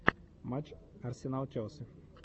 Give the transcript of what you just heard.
матч арсенал челси